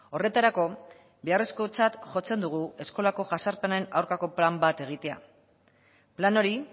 horretarako beharrezkotzat jotzen dugu eskolako jazarpenen aurkako plan bat egitea plan hori